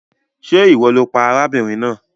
Ṣe iwọ lo pa arábìnrin náà?